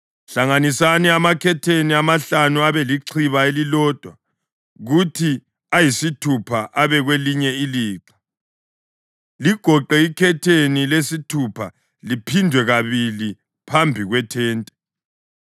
Hlanganisani amakhetheni amahlanu abelilixha elilodwa kuthi ayisithupha abe kwelinye ilixha. Ligoqe ikhetheni lesithupha liphindwe kabili phambi kwethente.